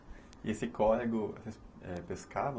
E esse córrego, é, pescavam?